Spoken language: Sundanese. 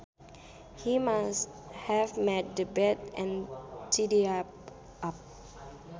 He must have made the bed and tidied up